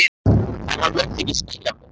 En hann mundi ekki skilja mig.